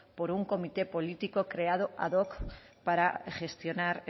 por un comité político creado ad hoc para gestionar